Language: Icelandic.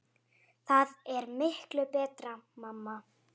Það er miklu betra mamma!